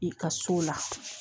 I ka so la